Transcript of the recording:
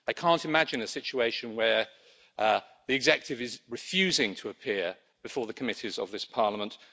I cannot imagine a situation where the executive is refusing to appear before the committees of this Parliament.